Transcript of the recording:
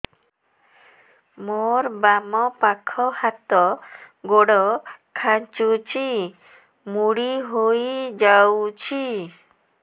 ମୋର ବାମ ପାଖ ହାତ ଗୋଡ ଖାଁଚୁଛି ମୁଡି ହେଇ ଯାଉଛି